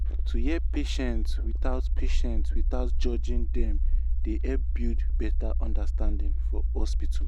to hear patients without patients without judging them dey help build better understanding for hospital.